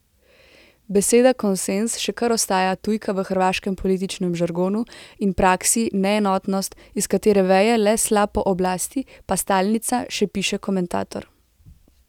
Beseda konsenz še kar ostaja tujka v hrvaškem političnem žargonu in praksi, neenotnost, iz katere veje le sla po oblasti, pa stalnica, še piše komentator.